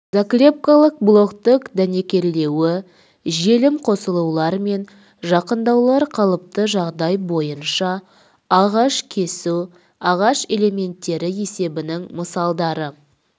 заклепкалық болттық дәнекерлеуі желім қосылулар мен жақындаулар қалыпты жағдай бойынша ағаш кесу ағаш элементтері есебінің мысалдары